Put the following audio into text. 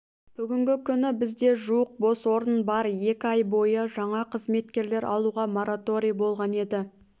бүгінгі күні бізде жуық бос орын бар екі ай бойы жаңа қызметкерлер алуға мораторий болған еді